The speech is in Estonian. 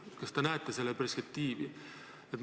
Kas te näete sellel perspektiivi?